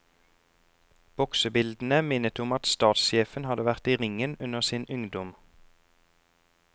Boksebildene minnet om at statssjefen hadde vært i ringen under sin ungdom.